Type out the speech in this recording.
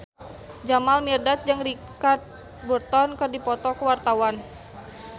Jamal Mirdad jeung Richard Burton keur dipoto ku wartawan